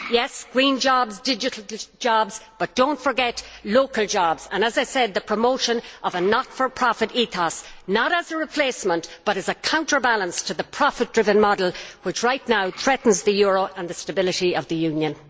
Yes to green jobs, digital jobs, but do not forget local jobs and, as I said, the promotion of a not for profit ethos, not as a replacement, but as a counterbalance to the profit driven model, which right now threatens the euro and the stability of the Union.